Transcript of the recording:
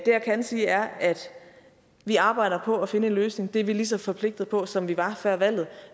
jeg kan sige er at vi arbejder på at finde en løsning og det er vi lige så forpligtede på nu som vi var før valget